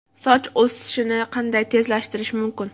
Soch o‘sishini qanday tezlashtirish mumkin?.